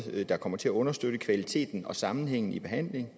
der kommer til at understøtte kvaliteten og sammenhængen i behandlingen